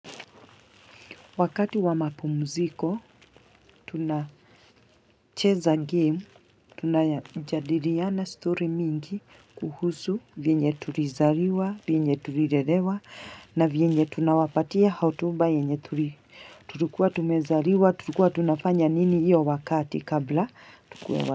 Wakati wa mapumziko, tunacheza game, tunajadiriana story mingi, kuhusu, vyenye tulizariwa, vyenye tulirelewa, na vyenye tunawapatia hotuba, yenye tulikuwa tumezariwa, tulikuwa tunafanya nini iyo wakati kabla tukue wa.